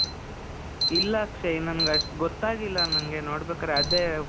ಇಲ್ಲ ಅಕ್ಷಯ್, ನನಿಗ್ ಅಷ್ಟ್ ಗೊತ್ತಾಗಿಲ್ಲ ನಂಗೆ ನೋಡ್ಬೇಕಾದ್ರೆ. ಅದೇ,